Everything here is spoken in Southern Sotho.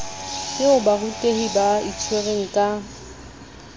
eo barutehi ba itshwereng ka